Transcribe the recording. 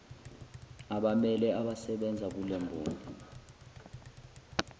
abammele abasebenza kulemboni